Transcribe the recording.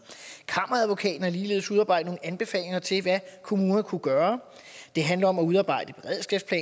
kammeradvokaten har ligeledes udarbejdet nogle anbefalinger til hvad kommunerne kunne gøre det handler om at udarbejde